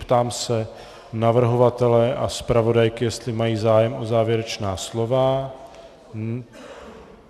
Ptám se navrhovatele a zpravodajky, jestli mají zájem o závěrečná slova.